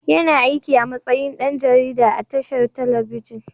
Yana aikin a matsayin ɗan jarida a tashar telebijin.